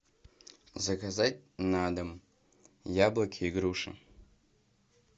заказать на дом яблоки и груши